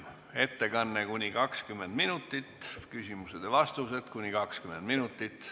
Ettekandeks on aega kuni 20 minutit, küsimusteks ja vastusteks samuti kuni 20 minutit.